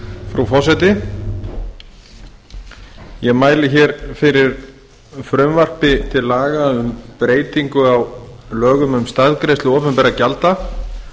frú forseti ég mæli fyrir frumvarpi til laga um breytingu á lögum um staðgreiðslu opinberra gjalda